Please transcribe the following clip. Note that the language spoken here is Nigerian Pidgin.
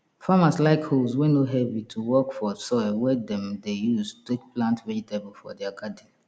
farmers like hoes wey no heavy to work for soil wey dem de use take plant vegetable for their garden